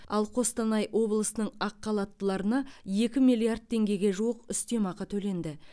ал қостанай облысының ақхалаттыларына екі миллиард теңгеге жуық үстемақы төленді